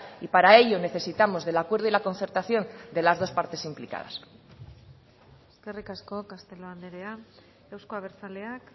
y para ello necesitamos del acuerdo y la concertación de las dos partes implicadas eskerrik asko castelo andrea euzko abertzaleak